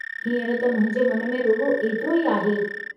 हींअर त मुंहिंजे मन में रुॻो एतिरो ई आहे।